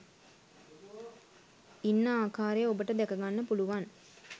ඉන්න ආකාරය ඔබට දැක ගන්න පුළුවන්